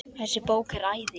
Þessi bók er æði.